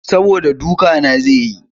Saboda duka na zai yi.